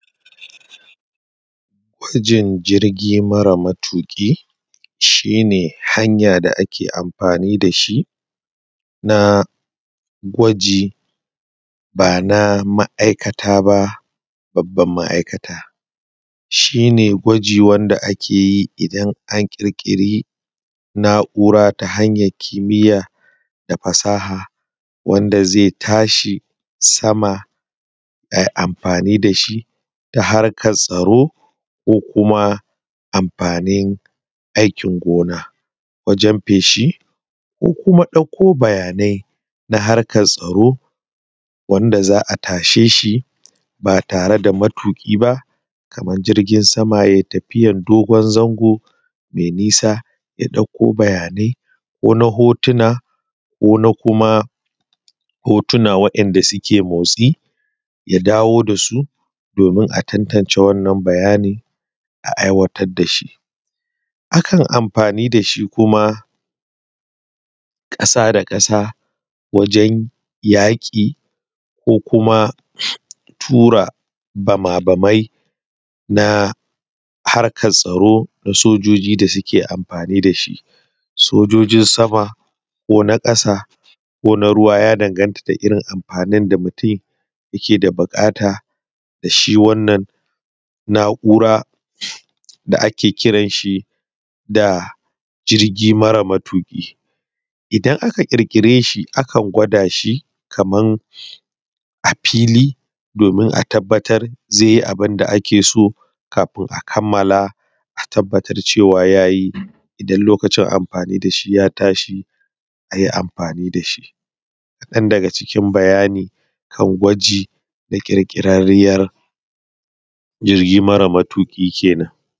Jirgi mara matuƙi shi ne hanya da ake amfani da shi na gwaji ba na ma'aikata ba babbar ma'aikata. Shi ne gwaji wanda ake ti indan an ƙirƙiri na'ura ta hanyar kimiya da fasaha wanda zai tashi sama a yi amfani da shi ta harkar tsaro ko kuma amfani hanyar gona kamar wajen feshi ko bayanai na harkar tsaro da za a tashe shi ba tare da matuƙi ba kamar jirgin sama ya yi tafiya na dogon zango mai nisa ya dauko bayanai ko na hotuna ko na kuma hotuna wanda suke motsi ya dawo da su domin a tantance wannan bayani a aiwatar da shi. Akan amfani da shi kuma ƙasa da ƙasa wajen yaƙi ko kuma waje tura bamabamai na harkar tsaro na sojoji da suke amfani da shi. Sojojin sama ko na ƙasa ko na ruwa ya danganta da irin amfanin da mutum yake da buƙata da shi wannan na'ura da ake kiran shi da jirgi mara matuƙi. Idana aka ƙirƙire shi aka gwada shi kamar a fili domin a tabbatar zai yi abun da ake so kafin a kammar cewa ya yi idan lokacin amfani da shi ya tashi a yi amfani da shi. Kaɗan daga cikin bayani kan gwaji da klƙirƙirarriyar jirgi mara matuki kenan